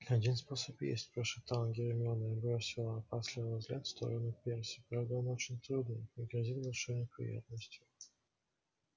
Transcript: один способ есть прошептала гермиона и бросила опасливый взгляд в сторону перси правда он очень трудный и грозит большой неприятностью